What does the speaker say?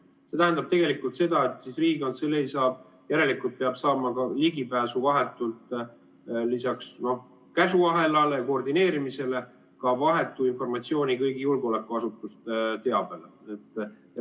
See tähendab tegelikult seda, et Riigikantselei peab järelikult lisaks käsuahelale ja koordineerimisele saama ka vahetu informatsiooni ja ligipääsu kõigi julgeolekuasutuste teabele.